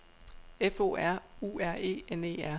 F O R U R E N E R